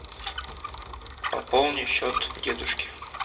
пополни счет дедушке